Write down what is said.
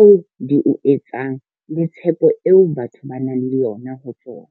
oo di o etsang le tshepo eo batho ba nang le yona ho tsona.